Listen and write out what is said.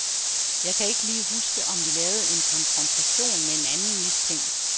Jeg kan ikke lige huske, om vi lavede en konfrontation med en anden mistænkt.